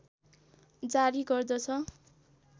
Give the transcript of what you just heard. जारी गर्दछ